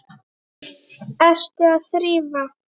Ertu að þrífa?